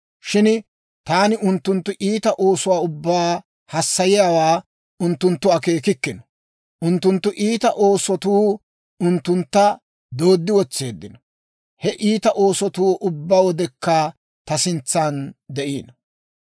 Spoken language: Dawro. Shin taani unttunttu iita oosuwaa ubbaa hassayiyaawaa unttunttu akeekikkino. Unttunttu iita oosotu unttuntta dooddi wotseeddino; he iita oosotuu ubbaa wodekka ta sintsan de'iino.